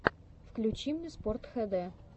включи мне спортхд